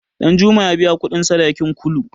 Ɗanjuma ya biya kuɗin sadakin Kulu.